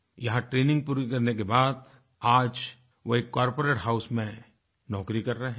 यहाँ ट्रेनिग पूरी करने बाद आज वो एक कॉर्पोरेट हाउस में नौकरी कर रहे हैं